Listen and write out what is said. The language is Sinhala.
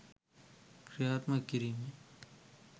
ක්‍රියාත්මක කිරීමයි.